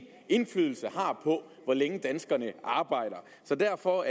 indflydelse har på hvor længe danskerne arbejder så derfor